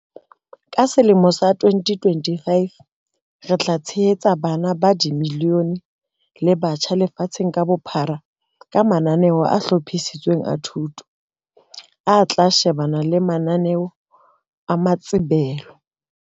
Ka selemo sa 2025, re tla tshehetsa bana ba milione le batjha lefatsheng ka bophara ka mananeo a hlophisitsweng a thuto, a tla shebana le mananeo a maitsebelo.